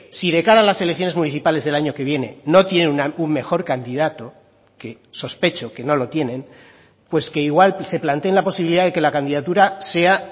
si de cara a las elecciones municipales del año que viene no tiene un mejor candidato que sospecho que no lo tienen pues que igual se planteen la posibilidad de que la candidatura sea